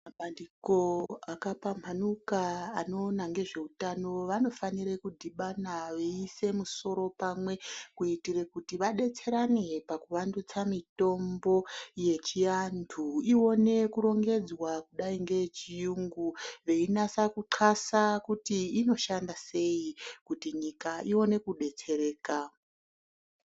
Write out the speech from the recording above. Mabandiko akapambhanuka anoona ngezveutano vanofanira kudhibhana veiisa misoro pamwe kuitira kuti vadetserane pakuvandutsa mitombo yechiantu Ione kurongedzwa kudai ngeyechiyungu, veinasa kuxasa kuti inoshanda sei kuti nyika Ione kudetsereka.